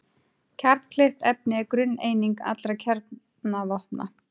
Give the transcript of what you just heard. Kjarnkleyft efni er grunneining allra kjarnavopna.